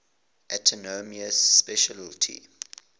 autonomous specialty